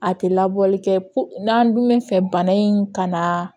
A tɛ labɔli kɛ n'an dun bɛ fɛ bana in ka na